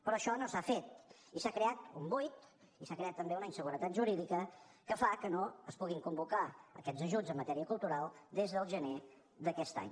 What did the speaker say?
però això no s’ha fet i s’ha creat un buit i s’ha creat també una inseguretat jurídica que fa que no es puguin convocar aquests ajuts en matèria cultural des del gener d’aquest any